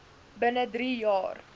binne drie jaar